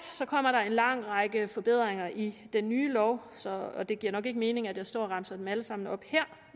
en lang række forbedringer i den nye lov og det giver nok ikke mening at jeg står og remser dem alle sammen op her